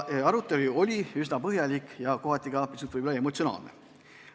Arutelu oli üsna põhjalik ja kohati ka pisut emotsionaalne.